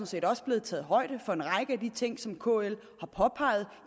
set også blevet taget højde for en række af de ting som kl har påpeget